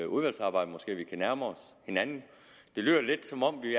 udvalgsarbejdet måske kan nærme os hinanden det lyder lidt som om vi